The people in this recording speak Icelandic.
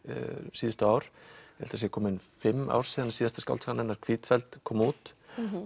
síðustu ár ég held það séu fimm ár síðan síðasta skáldsaga hennar kom út